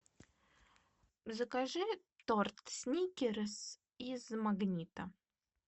закажи торт сникерс из магнита